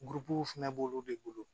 fɛnɛ b'olu de bolo